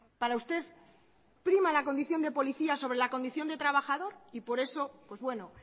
para usted prima la condición de policía sobre la condición de trabajador y por eso pues bueno